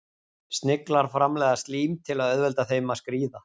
Sniglar framleiða slím til að auðvelda þeim að skríða.